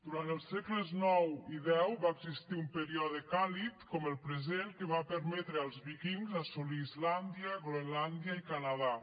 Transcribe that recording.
durant els segles ix i x va existir un període càlid com el present que va permetre als víkings assolir islàndia groenlàndia i canadà